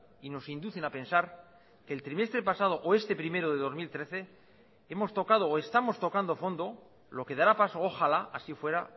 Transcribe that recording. y nos inducen a pensar el trimestre pasado o este primero de dos mil trece hemos tocado o estamos tocando fondo lo que dará paso ojalá así fuera